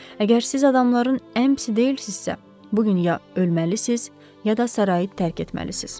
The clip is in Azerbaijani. Əgər siz adamların ən pisi deyilsinizsə, bu gün ya ölməlisiniz, ya da sarayı tərk etməlisiniz.